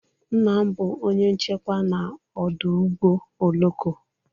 Nna m bụ onye nchekwa n'ọdụ ụgbọ oloko.